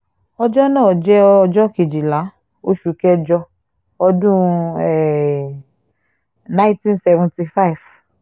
ọjọ́ náà jẹ́ ọjọ́ kejìlá oṣù kẹjọ ọdún um nineteen seventy five